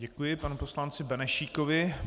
Děkuji panu poslanci Benešíkovi.